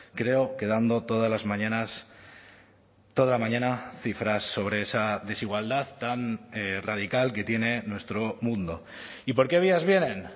creo que dando todas las mañanas toda la mañana cifras sobre esa desigualdad tan radical que tiene nuestro mundo y por qué vías vienen